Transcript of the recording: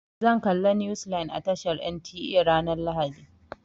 Zan galla news line a tashar NTA ranar lahadi.